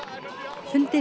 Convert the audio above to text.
fundi